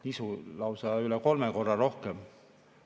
Nisu lausa üle kolme korra rohkem.